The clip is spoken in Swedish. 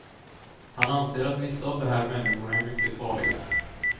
Han anser att vissa av de här människorna är mycket farliga.